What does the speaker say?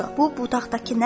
Bu budaqdakı nədir?